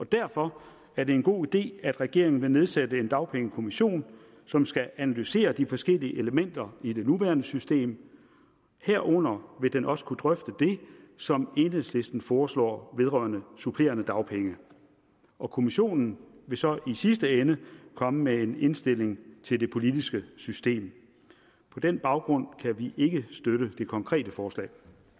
derfor er det en god idé at regeringen vil nedsætte en dagpengekommission som skal analysere de forskellige elementer i det nuværende system herunder vil den også kunne drøfte det som enhedslisten foreslår vedrørende supplerende dagpenge og kommissionen vil så i sidste ende komme med en indstilling til det politiske system på den baggrund kan vi ikke støtte det konkrete forslag